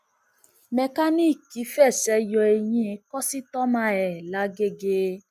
mẹkáníìkì fẹsẹ yọ eyín kọsítọmà ẹ làgẹgẹ